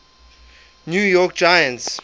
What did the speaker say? new york giants